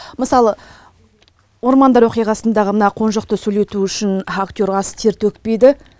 мысалы ормандар оқиғасындағы мына қонжықты сөйлету үшін актер аз тер төкпейді